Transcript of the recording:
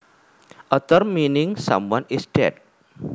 A term meaning someone is dead